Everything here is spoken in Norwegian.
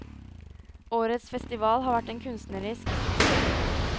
Årets festival har vært en kunstnerisk suksess.